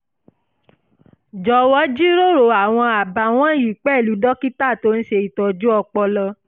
jọ̀wọ́ jíròrò àwọn àbá wọ̀nyí pẹ̀lú dókítà tó ń ṣe ìtọ́jú ọpọlọ